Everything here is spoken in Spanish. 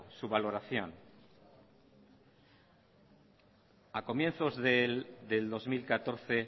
su valoración ha comienzos del dos mil catorce